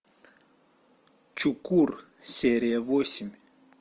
чукур серия восемь